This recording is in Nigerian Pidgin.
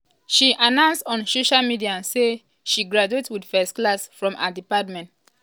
some nigerians bin drag 19-year-old tolulope ekundayo wen